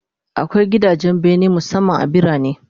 Akwai gidajen bene musamman a birane